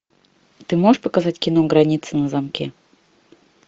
ты можешь показать кино граница на замке